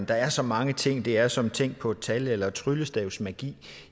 der er så mange ting det er som tænk på et tal eller tryllestavsmagi